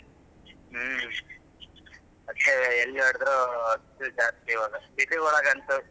ಹ್ಮ್ ಅದ್ಕೆ ಎಲ್ಲಿ ನೋಡುದ್ರು ಬಿಸ್ಲು ಜಾಸ್ತಿ ಇವಾಗ city ಒಳ್ಗಂತೂ,